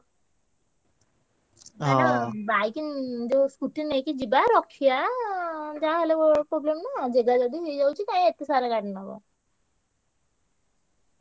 Bike ଯୋଉ scooty ନେଇକି ଯିବା ରଖିଆ ଯାହା ହେଲେ ଗୋ~ problem ନା। ଜେଗା ଯଦି ହେଇଯାଉଛି କାଇଁ ଏତେ ସାରା ଗାଡି ନବ।